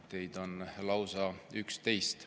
Teid on lausa 11.